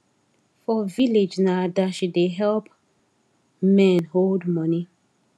for village na adashi da help men hold money